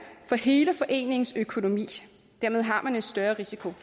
for hele foreningens økonomi dermed har man en større risiko